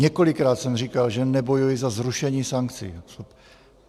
Několikrát jsem říkal, že nebojuji za zrušení sankcí.